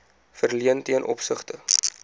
verleen ten opsigte